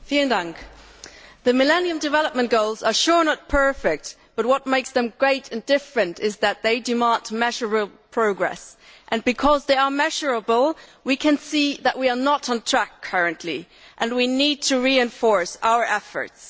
Madam President, the Millennium Development Goals are sure not perfect, but what makes them great and different is that they demand measurable progress, and because they are measurable we can see that we are not on track currently and we need to reinforce our efforts.